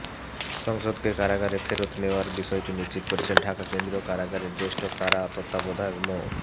সাংসদকে কারাগারে ফেরত নেওয়ার বিষয়টি নিশ্চিত করেছেন ঢাকা কেন্দ্রীয় কারাগারের জ্যেষ্ঠ কারা তত্ত্বাবধায়ক মো